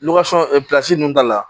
ninnu da la